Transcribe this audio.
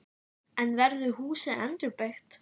En verður húsið endurbyggt?